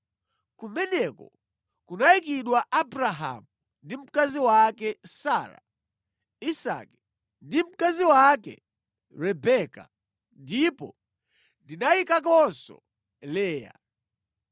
Kumeneko kunayikidwa Abrahamu ndi mkazi wake Sara, Isake ndi mkazi wake Rebeka ndipo ndinayikakonso Leya.